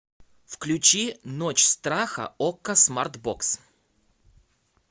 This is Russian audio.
включи ночь страха окко смарт бокс